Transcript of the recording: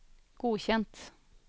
godkjent